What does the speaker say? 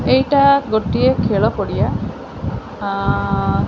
ଏଇଟା ଗୋଟିଏ ଖେଳ ପଡିଆ ଆଁ ଆଁ --